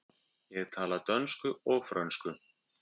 Ég tala dönsku og frönsku.